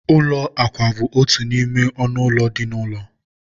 ụlọ akwa bụ otu n'ime ọnụ ụlọ dị n'ụlọ.